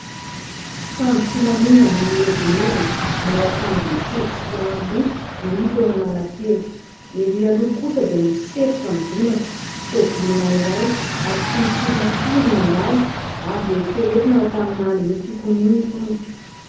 Mpitandro filaminana mihedinedina, manao akanjo mitovy sy aro loha no hita eo Analakely. Ery loha kosa dia misy setroka midonaka, tômôbilina iray ary tsy misy olona firy mandalo. Azo eritreretina fa tamin'ny andron'ny fikomiana itony.